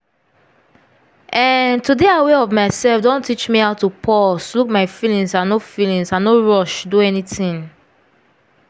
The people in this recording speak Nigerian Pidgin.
ehn to dey aware of myself don teach me how to pause look my feelings and no feelings and no rush do anything.